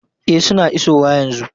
E, suna isowa yanzu.